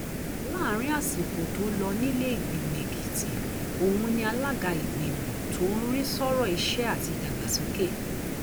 láàrin àsìkò tó lọ nílẹẹgbìmọ èkìtì òun ni alága ìgbìmọ tó ń rí sọrọ ìṣẹ àti ìdàgbàsókè